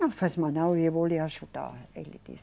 Não faz mal não, eu vou lhe ajudar, ele disse.